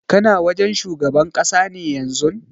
Kana wajen shugaban ƙasa ne yanzun?